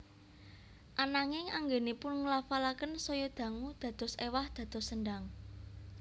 Ananging anggènipun nglafalaken saya dangu dados éwah dados sendang